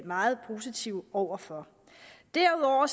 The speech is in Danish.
meget positive over for derudover